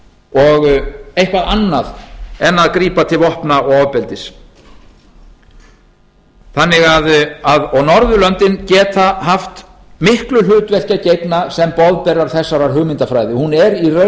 og eitthvað annað en að grípa til vopna og ofbeldis norðurlöndin geta haft miklu hlutverki að gegna sem boðberar þessarar hugmyndafræði hún er í raun